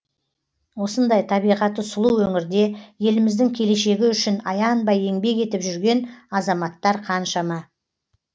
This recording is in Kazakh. осындай табиғаты сұлу өңірде еліміздің келешегі үшін аянбай еңбек етіп жүрген азаматтар қаншама